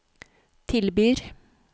tilbyr